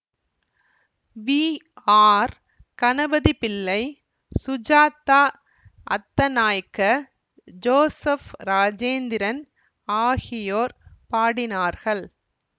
we R Ganapathipillai Sujatha Athanayake Joseph Rajendran ஆகியோர் பாடினார்கள்